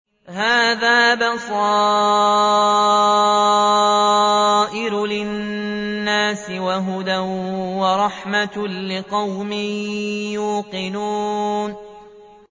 هَٰذَا بَصَائِرُ لِلنَّاسِ وَهُدًى وَرَحْمَةٌ لِّقَوْمٍ يُوقِنُونَ